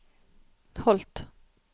Holt